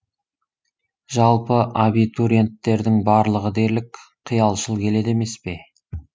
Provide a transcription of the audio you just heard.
жалпы абитуриенттердің барлығы дерлік қиялшыл келеді емес пе